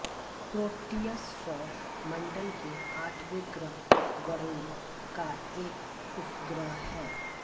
proteus सौर मण्डल के आठवे ग्रह वरुण का एक उपग्रह है